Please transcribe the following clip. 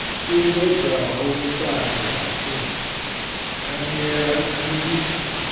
sumbedzaho vhuṱali ha frika thangelakhandiso